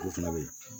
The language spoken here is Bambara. Olu fana bɛ yen